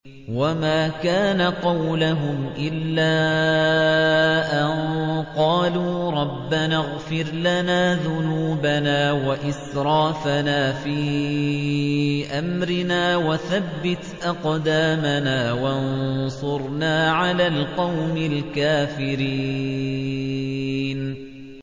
وَمَا كَانَ قَوْلَهُمْ إِلَّا أَن قَالُوا رَبَّنَا اغْفِرْ لَنَا ذُنُوبَنَا وَإِسْرَافَنَا فِي أَمْرِنَا وَثَبِّتْ أَقْدَامَنَا وَانصُرْنَا عَلَى الْقَوْمِ الْكَافِرِينَ